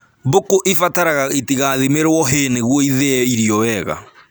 Mbũkũ ibataraga itigathimĩrwo hay nĩguo ithĩe irio wega